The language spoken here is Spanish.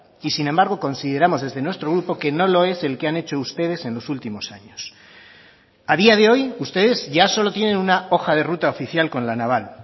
y sin embargo consideramos desde nuestro grupo que no lo es el que han hecho ustedes en los últimos años a día de hoy ustedes ya solo tienen una hoja de ruta oficial con la naval